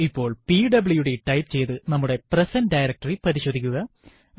ഇപ്പോൾ PWD type ചെയ്തു നമ്മുടെ പ്രസന്റ് ഡയറക്ടറി പരിശോധിക്കുക